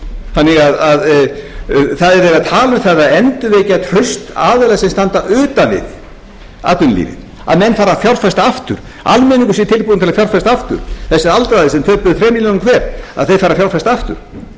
þannig að það er verið að tala um að endurvekja traust aðila sem standa utan við atvinnulífið að menn fari að fjárfesta aftur almenningur sé tilbúinn til að fjárfesta aftur þetta eru aldraðir sem þrem milljónum hver þeir færu að fjárfesta aftur